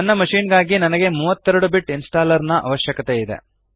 ನನ್ನ ಮಶಿನ್ ಗಾಗಿ ನನಗೆ 32 ಬಿಟ್ ಇನ್ಸ್ಟಾಲ್ಲರ್ ನ ಅವಶ್ಯಕತೆಯಿದೆ